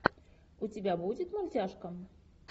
у тебя будет мультяшка